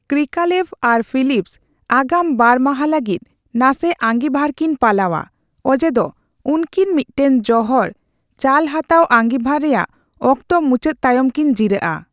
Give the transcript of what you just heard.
ᱠᱨᱤᱠᱟᱞᱮᱵᱷ ᱟᱨ ᱯᱷᱤᱞᱤᱯᱥ ᱟᱜᱟᱢ ᱵᱟᱨ ᱢᱟᱦᱟ ᱞᱟᱹᱜᱤᱫ ᱱᱟᱥᱮ ᱟᱸᱜᱤᱵᱷᱟᱨ ᱠᱤᱱ ᱯᱟᱞᱟᱣᱼᱟ, ᱚᱡᱮ ᱫᱚ ᱩᱱᱠᱤᱱ ᱢᱤᱫᱴᱟᱝ ᱡᱚᱦᱚᱲ ᱪᱟᱞᱦᱟᱛᱟᱣ ᱟᱸᱜᱤᱵᱷᱟᱨ ᱨᱮᱭᱟᱜ ᱚᱠᱛᱚ ᱢᱩᱪᱟᱹᱫ ᱛᱟᱭᱚᱢ ᱠᱤᱱ ᱡᱤᱨᱟᱹᱜᱼᱟ ᱾